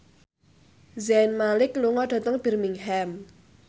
Zayn Malik lunga dhateng Birmingham